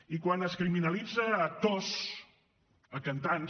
i quan es criminalitzen actors cantants